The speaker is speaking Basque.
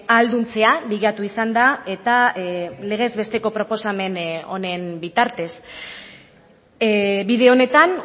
ahalduntzea bilatu izan da eta legez besteko proposamen honen bitartez bide honetan